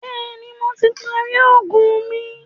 Bẹ̀ẹ́ni, Mo ti parí oògùn mi.